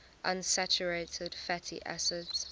unsaturated fatty acids